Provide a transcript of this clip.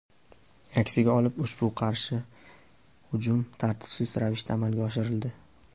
Aksiga olib ushbu qarshi hujum tartibsiz ravishda amalga oshirildi.